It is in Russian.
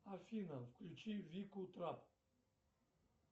афина включи вику трап